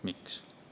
Miks?